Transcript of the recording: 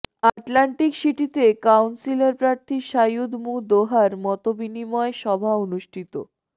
Atlantic সিটিতে councillor প্রার্থী সাঈদ মুঃ দোহার মতবিনিময় সভা অনুষ্ঠিত